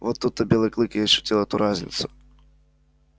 вот тут-то белый клык и ощутил эту разницу